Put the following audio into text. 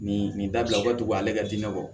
Nin nin dabila o ka togo ale ka diinɛ bɔ